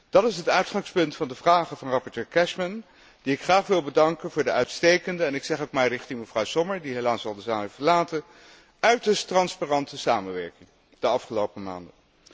Dat is het uitgangspunt van de vragen van rapporteur Cashman die ik graag wil bedanken voor de uitstekende en ik zeg het maar richting mevrouw Sommer, die helaas de zaal al heeft verlaten uiterst transparante samenwerking in de afgelopen maanden.